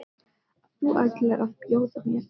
að þú ætlir að bjóða mér inn?